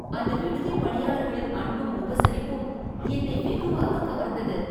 அந்த விடுதி பணியாளர்களின் அன்பும் உபசரிப்பும் என்னை வெகுவாக கவர்ந்தது